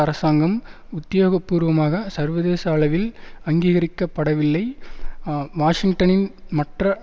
அரசாங்கம் உத்தியோகபூர்வமாக சர்வதேச அளவில் அங்கீகரிக்க படவில்லை வாஷிங்டனின் மற்ற